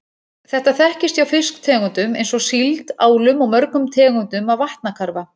Þetta þekkist hjá fiskitegundum eins og síld, álum og mörgum tegundum af vatnakarfa.